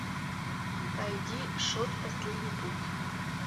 найди шот последний путь